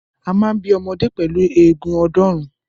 A máa ń bí ọmọdé pẹ̀lú eegun ọ̀ọ́dúnrún.